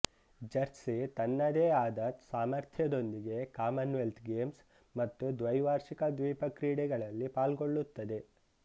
Jersey ತನ್ನದೇ ಆದ ಸಾಮರ್ಥ್ಯದೊಂದಿಗೆ ಕಾಮನ್ ವೆಲ್ತ್ ಗೇಮ್ಸ್ ಮತ್ತು ದ್ವೈವಾರ್ಷಿಕ ದ್ವೀಪ ಕ್ರೀಡೆಗಳಲ್ಲಿ ಪಾಳ್ಗೊಳ್ಳುತ್ತದೆ